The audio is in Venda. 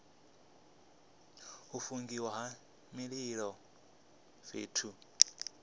u fungiwa ha mililo fhethu